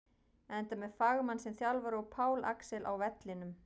Enda með fagmann sem þjálfara og Pál Axel á vellinum!